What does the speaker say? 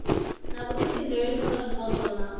na vhuifhinduleli kha zwipotso na